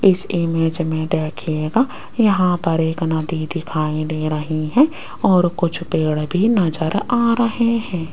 इस इमेज में देखिएगा यहां पर एक नदी दिखाई दे रही है और कुछ पेड़ भी नजर आ रहे हैं।